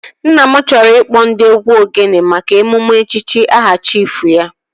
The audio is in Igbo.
Nna m chọrọ ịkpọ ndị otụ egwu ogene maka emume echichi aha chiifu ya